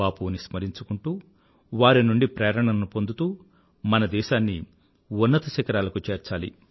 బాపూని స్మరించుకుంటూ వారి నుండి ప్రేరణను పొందుతూ మన దేశాన్ని ఉన్నత శిఖరాలకు చేర్చాలి